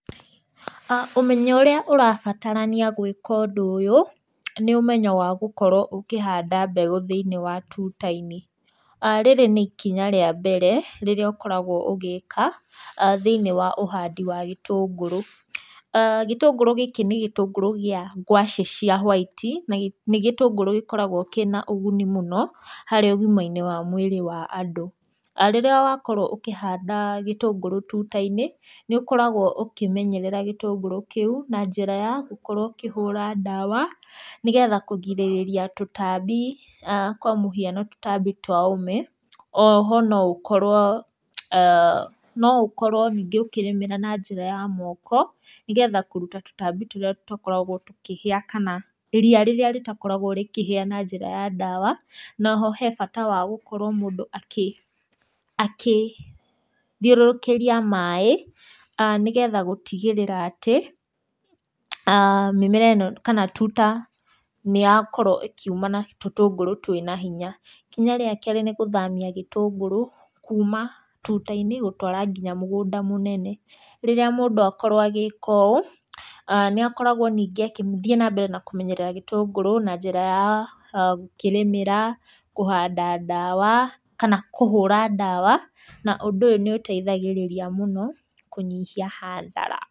Ũmenyo ũrĩa ũrabatarania gwĩka ũndũ ũyũ nĩ ũmenyo wa gũkorwo ũkĩhanda mbegũ thĩiniĩ wa tũta-inĩ. Rĩrĩ nĩ ikinya rĩa mbere rĩrĩa ũkoragwo ũgĩka thĩinĩi wa ũhandi wa gĩtũngũrũ. Gĩtũngũrũ gĩkĩ nĩ gĩtũngũrũ gĩa ngwacĩ cia white na nĩ gĩtũngũrũ gĩkoragwo kĩna ũgũni mũno harĩ ũgima-inĩ wa mwĩrĩ wa andũ. Rĩrĩa wakorwo ũkĩhanda gĩtũngũrũ tũta-inĩ, nĩũkoragwo ũkĩmenyerera gĩtũngũrũ kĩũ na njĩra ya gũkorwo ũkĩhũra ndawa, nĩgetha kũgirĩrĩria tũtambi, kwa mũhiano tũtambi twa ũme, o ho noũkorwo aah noũkorwo ningĩ ũkĩrĩmĩra na njĩra ya moko, nĩgetha kũrũta tũtambi tũrĩa tatakoragwo tũkĩhĩa kana ria rĩrĩa rĩtakoragwo rĩkĩhĩa na njĩra ya ndawa, na oho he bata wa gũkorwo mũndũ akĩ, akĩthiũrũkĩria maĩ nĩgetha gũtigĩrĩra atĩ aah mĩmera ĩno kana tũta nĩyakorwo ĩkiũma na tũtũngũrũ twĩna hinya. Ikinya rĩa kerĩ, nĩ gũthamia gĩtũngũrũ, kũma tũta-inĩ gũtwara nginya mũgũnda mũnene. Rĩrĩa mũndũ akorwo agĩka ũũ, nĩakoragwo ningĩ agĩthiĩ nambere na kũmenyerera gĩtũngũrũ, na njĩra ya gũkĩrĩmĩra, kũhanda ndawa, kana kũhũra ndawa, na ũndũ ũyũ nĩũteithagĩrĩria mũno kũnyihia hathara.